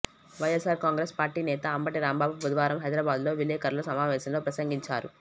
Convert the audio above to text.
YSR Congress party నేత అంబటి రాంబాబు బుధవారం హైదరాబాద్ లో విలేకరుల సమావేశంలో ప్రసంగించారు